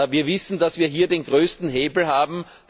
Wir wissen, dass wir hier den größten Hebel haben.